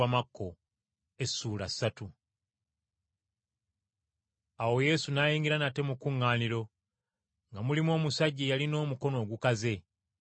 Awo Yesu n’ayingira nate mu kkuŋŋaaniro, nga mulimu omusajja eyalina omukono ogukaze.